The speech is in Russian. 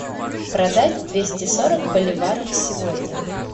продать двести сорок боливаров сегодня